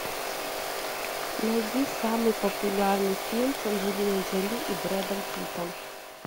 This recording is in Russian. найди самый популярный фильм с анджелиной джоли и брэдом питтом